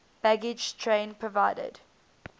baggage train provided